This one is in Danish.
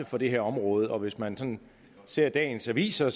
for det her område og hvis man ser dagens aviser